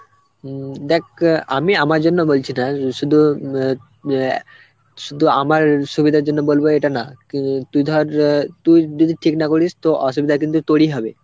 উম দেখ অ্যাঁ আমি আমার জন্য বলছি না শুধু ম্যা অ্যাঁ শুধু আমার সুবিধার জন্য বলব এটা না উম তুই ধর অ্যাঁ তুই যদি ঠিক না করিস তো অসুবিধা কিন্তু তোরই হবে.